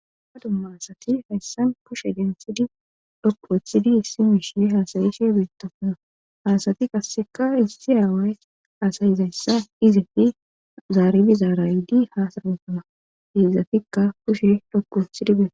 Ha dumma hasati hayssan pushe densidi dhokku weththidi issi miishe haasayishe biittasana haasati qasseka issi aaway haasayizayssa izefi zaaribi zaaraydi haasaraosana giizafikka pushe dhokku ethidi biee